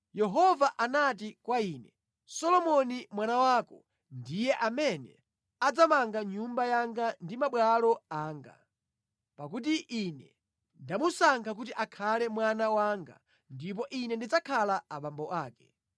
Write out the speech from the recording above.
Yehova anati kwa ine, “Solomoni mwana wako ndiye amene adzamanga nyumba yanga ndi mabwalo anga, pakuti Ine ndamusankha kuti akhale mwana wanga ndipo Ine ndidzakhala abambo ake.